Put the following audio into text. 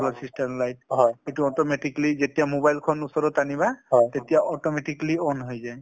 solar system light সেইটো automatically যেতিয়া mobile খন ওচৰত অনিবা তেতিয়া automatically on হৈ যায়।